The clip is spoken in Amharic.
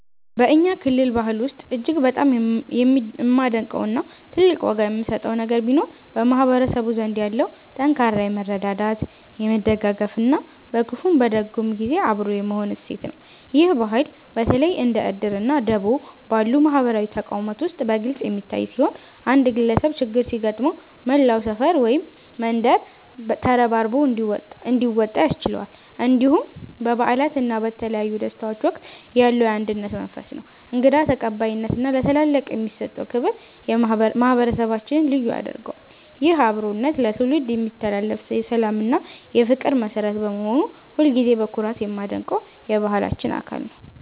በእኛ ክልል ባህል ውስጥ እጅግ በጣም የማደንቀው እና ትልቅ ዋጋ የምሰጠው ነገር ቢኖር በማህበረሰቡ ዘንድ ያለው ጠንካራ የመረዳዳት፣ የመደጋገፍ እና በክፉም በደግም ጊዜ አብሮ የመሆን እሴት ነው። ይህ ባህል በተለይ እንደ 'እድር' እና 'ደቦ' ባሉ ማህበራዊ ተቋማት ውስጥ በግልጽ የሚታይ ሲሆን፣ አንድ ግለሰብ ችግር ሲገጥመው መላው ሰፈር ወይም መንደር ተረባርቦ እንዲወጣ ያስችለዋል። እንዲሁም በበዓላት እና በተለያዩ ደስታዎች ወቅት ያለው የአንድነት መንፈስ፣ እንግዳ ተቀባይነት እና ለታላላቅ የሚሰጠው ክብር ማህበረሰባችንን ልዩ ያደርገዋል። ይህ አብሮነት ለትውልድ የሚተላለፍ የሰላም እና የፍቅር መሠረት በመሆኑ ሁልጊዜም በኩራት የማደንቀው የባህላችን አካል ነው።